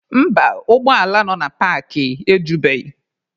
Mba, ụgbọ ala nọ na paakị ejubeghị.